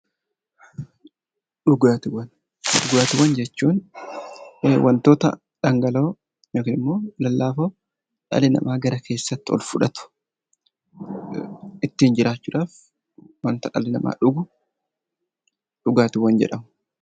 Dhugaatiiwwan. Dhugaattiiwwan jechuun wantoota dhangala'oo yookiin immoo lallaafoo dhalli namaa gara keessaatti ol fudhatu, ittiin jiraachuu dhaaf wanta dhalli namaa dhugu "Dhugaatiiwwan" jedhama.